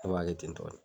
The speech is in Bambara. Ne b'a kɛ ten tɔ de